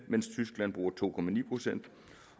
mens tyskland bruger to procent